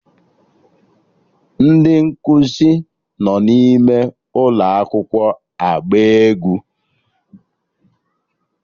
Ndị nkụzi nọ n'ime ụlọ akwụkwọ agba egwu